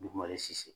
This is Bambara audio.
Dugumare sisi